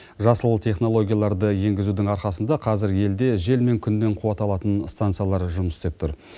жасыл технологияларды енгізудің арқасында қазір елде жел мен күннен қуат алатын станциялар жұмыс істеп тұр